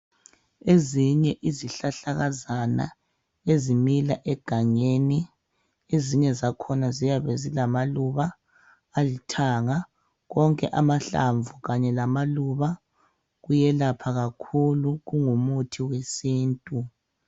Eyinye izihlahlakazana ezimila egangeni ezinye zakhona ziyabe zilamaluba alithanga onke amahlamvu Kanye lamaluba kuyelapha kakhulu kungumuthi wesintu